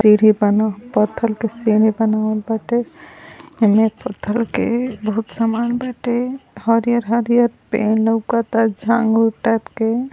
सीढ़ी बा न पत्थर के सीढ़ी बनावल बाटे। अनेक प्रकार के बहोत समान बाटे। हरियर-हरियर पेड़ लौकता झांगूर टाइप के --